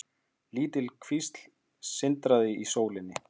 Lítil kvísl sindraði í sólinni.